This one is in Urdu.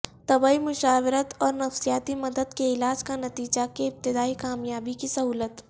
طبی مشاورت اور نفسیاتی مدد کے علاج کا نتیجہ کے ابتدائی کامیابی کی سہولت